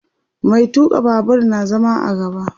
Mai tuka Babur na zama a gaba